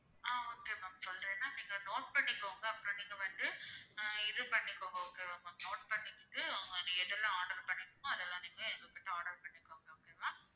ஆஹ் okay ma'am சொல்றேன் நான் நீங்க note பண்ணிக்கோங்க அப்பறம் நீங்க வந்து ஆஹ் இது பண்ணிக்கோங்க okay வா ma'am note பண்ணிக்கிட்டு நீங்க எதெல்லாம் order பண்ணணுமோ அதெல்லாம் நீங்க எங்ககிட்ட order பன்ணிக்கோங்க okay வா